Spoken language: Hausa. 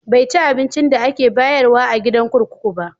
Bai ci abincin da ake bayarwa a gidan kurkuku ba.